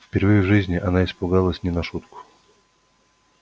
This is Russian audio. впервые в жизни она испугалась не на шутку